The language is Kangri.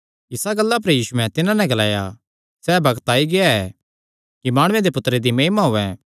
इसा गल्ला पर यीशुयैं तिन्हां नैं ग्लाया सैह़ बग्त आई गेआ ऐ कि माणुये दे पुत्तरे दी महिमा होयैं